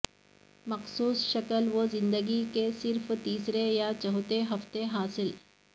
مخصوص شکل وہ زندگی کے صرف تیسرے یا چوتھے ہفتے حاصل